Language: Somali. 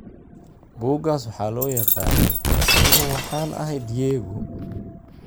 Buuggaas waxaa loo yaqaanay "Anigu waxaan ahay Diego."